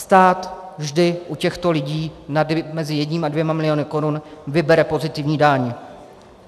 Stát vždy u těchto lidí mezi jedním a dvěma miliony korun vybere pozitivní daň.